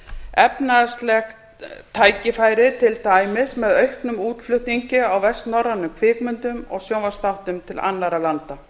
efnahagsleg tækifæri til dæmis með auknum útflutningi á vestnorrænum kvikmyndum og sjónvarpsþáttum til annarra landa